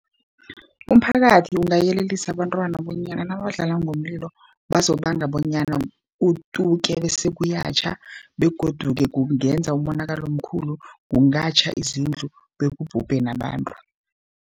Umphakathi ungayelelisa abantwana bonyana nabadlala ngomlilo, bazokubanga bonyana utuke. Bese kuyatjha begodu-ke kungenza umonakalo omkhulu, kungatjha izindlu bekubhubhe nabantu.